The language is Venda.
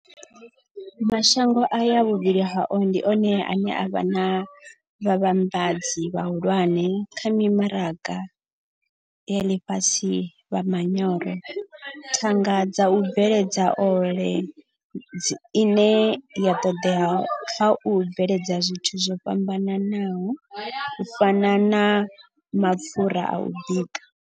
Mashango aya vhuvhili hao ndi one ane a vha vhavhambadzi vhahulwane kha mimaraga ya ḽifhasi ya manyoro, thanga dza u bveledza ole ine ya ṱoḓea kha u bveledza zwithu zwo fhambanaho u fana na mapfura a u bika.